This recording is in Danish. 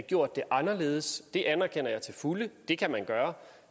gjort det anderledes det anerkender jeg til fulde det kan man gøre